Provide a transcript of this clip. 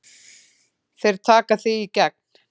Þeir taka þig í gegn!